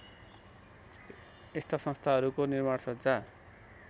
यस्ता संस्थाहरूको निर्माणसज्जा